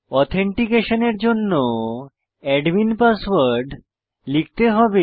অথেনটিকেশনের জন্য admin password লিখতে হবে